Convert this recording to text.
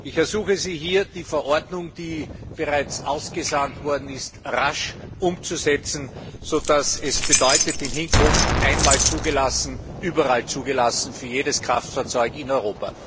Ich ersuche Sie hier, die Verordnung, die bereits ausgesandt worden ist, rasch umzusetzen, sodass es in Hinkunft bedeutet einmal zugelassen, überall zugelassen für jedes Kraftfahrzeug in Europa.